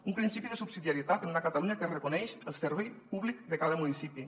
un principi de subsidiarietat en una catalunya que reconeix el servei públic de cada municipi